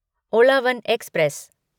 Uzhavan express